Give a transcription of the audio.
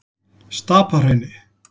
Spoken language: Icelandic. Stapahrauni